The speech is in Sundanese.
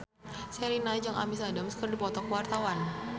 Sherina jeung Amy Adams keur dipoto ku wartawan